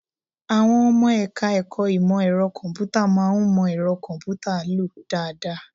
Àwọn ọmọ ẹ̀ka-ẹ̀kọ́ ìmọ ẹ̀rọ kọ̀m̀pútà máa ń mọ ẹ̀rọ kọ̀m̀pútà lò dáadáa